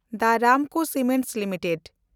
the Ramco cement limited